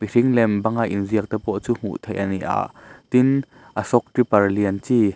thing lem banga in ziak te pawh chu hmuh theih ani a tin ashok tipper lian chi--